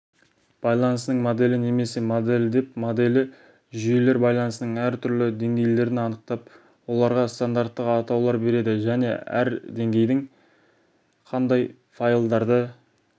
байланысының моделі немесе моделі деп моделі жүйелер байланысының әр түрлі деңгейлерін анықтап оларға стандарттық атаулар береді және әр деңгейдің қандай файлдарды